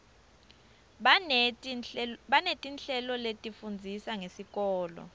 baneti nhleloletifundzisa ngesikoto